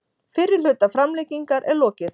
Fyrri hluta framlengingar er lokið